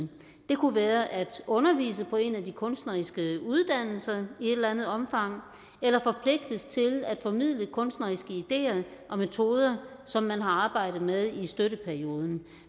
det kunne være at undervise på en af de kunstneriske uddannelser i et eller andet omfang eller forpligtes til at formidle kunstneriske ideer og metoder som man har arbejdet med i støtteperioden